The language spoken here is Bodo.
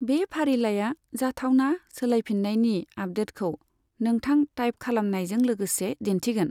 बे फारिलाइया जाथावना सोलायफिन्नायनि आपदेटखौ नोंथां थाइप खालामनायजों लोगोसे दिन्थिगोन।